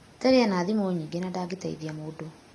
Terry ena thimũ nyingĩ na ndangĩteithia mũndũ.